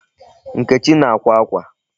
Nkechi na-akwa akwa.